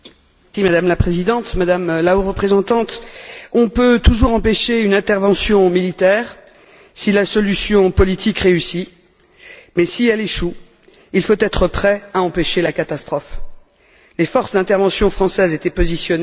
Madame la Présidente, Madame la Haute représentante, on peut toujours empêcher une intervention militaire si la solution politique réussit, mais, si elle échoue, il faut être prêt à empêcher la catastrophe. Les forces d'intervention françaises étaient positionnées.